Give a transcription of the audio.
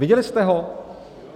Viděli jste ho?